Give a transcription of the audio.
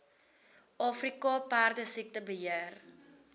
afrika perdesiekte beheer